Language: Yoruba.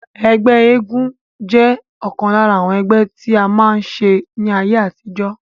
Ẹgbẹ́ àwọn eléégún jẹ́ ọ̀kan lára àwọn ẹgbẹ́ tí a máa ń ṣe ní ayé àtijọ́